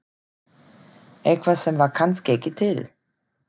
Eitthvað sem var kannski ekki til.